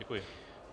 Děkuji.